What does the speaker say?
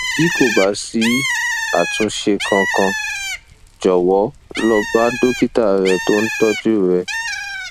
bí kò bá sí àtúnṣe kankan jọwọ lọ bá dókítà rẹ tó ń tọjú rẹ